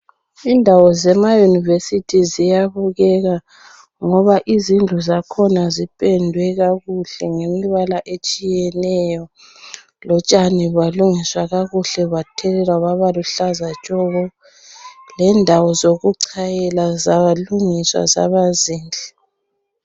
Indawo zema university ziyabukeka ngoba izindlu zakhona zipendwe kakuhle ngemibala etshiyeneyo lotshani balungiswa kakuhle bathelelwa baba luhlaza tshoko lendawo zokuchayela zalungiswa zaba zinhle.